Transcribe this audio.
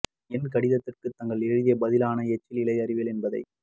என் கடிதத்திற்கு தாங்கள் எழுதிய பதிலான எச்சில் இலை அறிவியல் என்பதை